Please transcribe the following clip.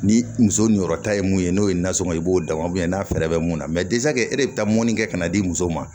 Ni muso yɔrɔ ta ye mun ye n'o ye nansɔngɔ ye i b'o da n'a fɛɛrɛ bɛ mun na e de bɛ taa mɔni kɛ ka n'a di muso ma